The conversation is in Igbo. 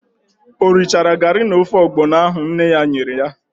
O richaara garị na ofe ọgbọnọ ahụ nne ya nyere ya?